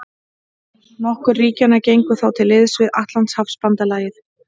Nokkur ríkjanna gengu þá til liðs við Atlantshafsbandalagið.